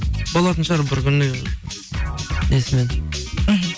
болатын шығар бір күні несімен мхм